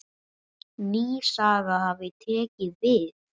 Ný saga hafi tekið við.